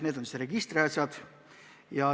Need on just registriasjad.